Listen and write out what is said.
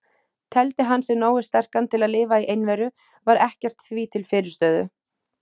Teldi hann sig nógu sterkan til að lifa í einveru, var ekkert því til fyrirstöðu.